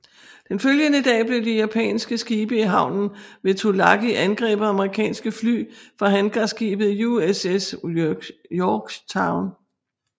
Den følgede dag blev de japanske skibe i havnen ved Tulagi angrebet af amerikanske fly fra hangarskibet USS Yorktown